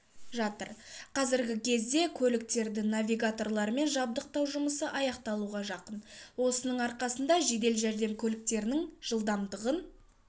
жатыр қазіргі кезде көліктерді навигаторлармен жабдықтау жұмысы аяқталуға жақын осының арқасында жедел жәрдем көліктерінің жылдамдығын